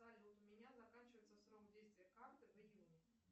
салют у меня заканчивается срок действия карты в июне